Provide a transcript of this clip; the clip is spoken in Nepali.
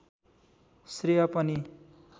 श्रेय पनि